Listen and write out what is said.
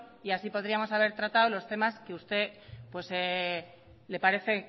y así podríamos haber tratado los temas que usted le parece